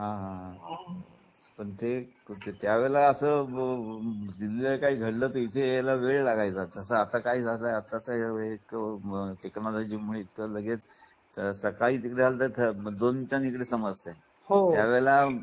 हा हा पण ते तर त्यावेळेला असं दिल्लीला काही घडलं तर इथे यायला वेळ लागायचा. तस आता काय झालं कि आताच्या वेळेला टेक्नोलजी मुळे लगेच कळून येते त्यावेळी सकाळी घडलेलं दोन मिनटात इथे समजत. हो